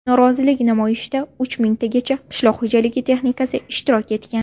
Norozilik namoyishida uch mingtagacha qishloq xo‘jaligi texnikasi ishtirok etgan.